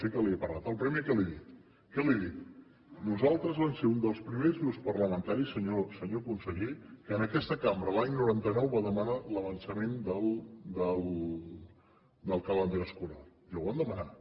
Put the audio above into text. sí que li he parlat el primer que li he dit nosaltres vam ser uns dels primers grups parlamentaris senyor conseller que en aquesta cambra l’any noranta nou vam demanar l’avançament del calendari escolar i ho vam demanar